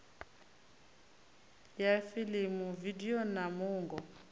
ya fiḽimu vidio na muungo